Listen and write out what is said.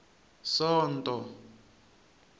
sonto